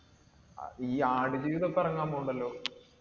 അതീ ആടുജീവിതം ഇപ്പൊ ഇറങ്ങാൻ പോകുന്നുണ്ടല്ലോ.